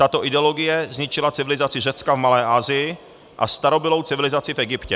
Tato ideologie zničila civilizaci Řecka v Malé Asii a starobylou civilizaci v Egyptě.